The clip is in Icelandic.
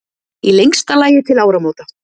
Í lengsta lagi til áramóta.